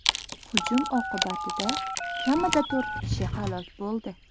Hujum oqibatida kamida to‘rt kishi halok bo‘ldi.